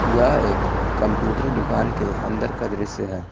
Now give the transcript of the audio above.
यह एक कम्प्यूटर दुकान के अन्दर का दृश्य है।